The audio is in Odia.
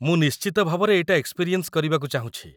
ମୁଁ ନିଶ୍ଚିତ ଭାବରେ ଏଇଟା ଏକ୍ସ୍‌ପିରିଏନ୍ସ୍ କରିବାକୁ ଚାହୁଁଛି ।